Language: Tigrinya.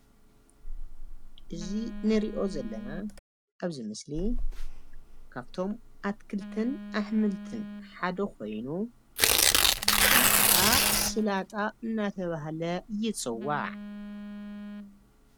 እዚ ንሪኦ ዘለና ኣብዚ ምስሊ ካብቶም ኣትክልትን ኣሕምልትን ሓደ ኮይኑ ሽሙ ከዓ ስላጣ እናተብሃለ ይፅዋዕ ።